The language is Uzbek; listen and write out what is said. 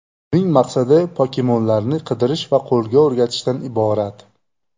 Uning maqsadi pokemonlarni qidirish va qo‘lga o‘rgatishdan iborat.